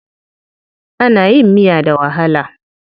Ana yin miya da walaha.